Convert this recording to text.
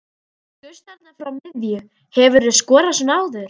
Þú skaust þarna frá miðju, hefurðu skorað svona áður?